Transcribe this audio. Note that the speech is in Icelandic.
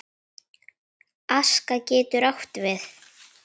Aska getur átt við